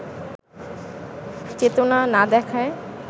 চেতনা না দেখায়